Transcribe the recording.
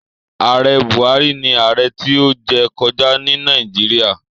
Ààrẹ Buhari ni ààrẹ tí ó jẹ kọjá ní Nàìjíríà.